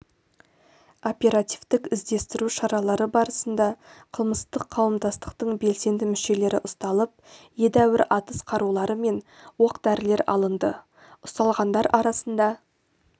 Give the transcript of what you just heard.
оперативтік іздестіру шаралары барысында қылмыстық қауымдастықтың белсенді мүшелері ұсталып едәуір атыс қарулары мен оқ-дәрілер алынды ұсталғандар арасында